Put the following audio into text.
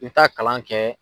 I bɛ taa kalan kɛ.